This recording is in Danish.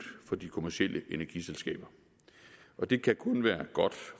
for de kommercielle energiselskaber det kan kun være godt